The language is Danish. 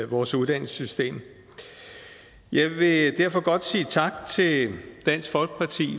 vores uddannelsessystem jeg vil derfor godt sige tak til dansk folkeparti